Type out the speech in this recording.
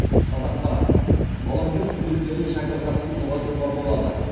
қазақпарат волонтер студенттердің шәкіртақысын ұлғайтуға болады